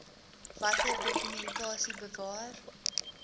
watter dokumentasie bewaar